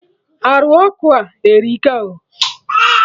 Arụ ọkụ a erika o